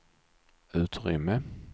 utrymme